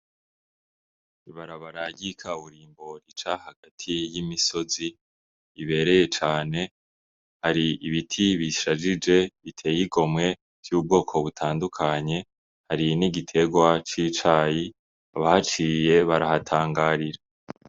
Ibarabara ry' ikaburimbo rica hagati y'imisozi ibereye cane , har'ibiti bishajije biteye igomwe vy'ubwoko butandukanye , hari n'igiterwa c'icayi abahaciye barahatangarira.